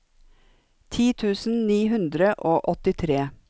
ti tusen ni hundre og åttitre